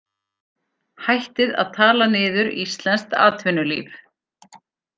Hættið að tala niður íslenskt atvinnulíf